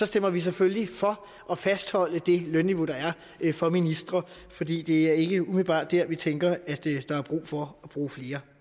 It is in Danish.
stemmer vi selvfølgelig for at fastholde det lønniveau der er for ministre fordi det ikke umiddelbart er vi tænker at der er brug for bruge flere